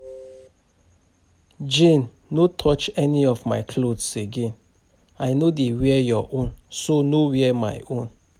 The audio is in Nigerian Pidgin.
Jane no touch any of my clothes again. I no dey wear your own so no wear my own